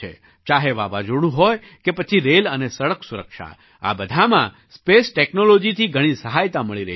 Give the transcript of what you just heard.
ચાહે વાવાઝોડું હોય કે પછી રેલ અને સડક સુરક્ષા આ બધાંમાં સ્પેસ ટૅક્નૉલૉજીથી ઘણી સહાયતા મળી રહી છે